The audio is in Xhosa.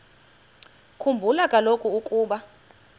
khumbula kaloku ukuba